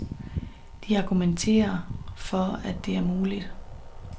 De argumenterer for, at det er muligt.